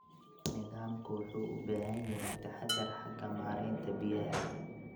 Nidaamku wuxuu u baahan yahay taxadar xagga maareynta biyaha.